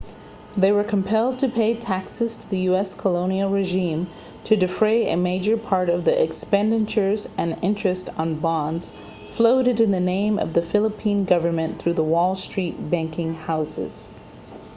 they were compelled to pay taxes to the u.s. colonial regime to defray a major part of the expenditures and the interest on bonds floated in the name of the philippine government through the wall street banking houses